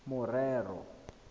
morero